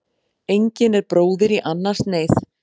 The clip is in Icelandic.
Engin er bróðir í annars neyð.